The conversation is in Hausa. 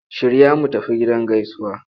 Shirya mu tafi gidan gaisuwa!